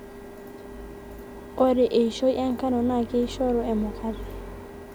ore eishoi enkano naa keishoru emukate